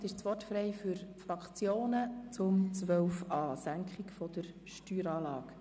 Damit ist das Wort frei für die Fraktionen zum Themenblock 12.a.